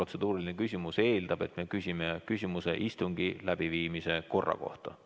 Protseduuriline küsimus eeldab, et me küsime küsimuse istungi läbiviimise korra kohta.